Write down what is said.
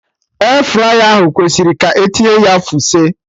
Airfryer ahụ kwesịrị ka etinye ya fuse